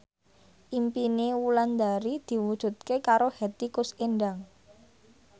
impine Wulandari diwujudke karo Hetty Koes Endang